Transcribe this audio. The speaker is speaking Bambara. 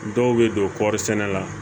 Dɔw bɛ don kɔri sɛnɛ la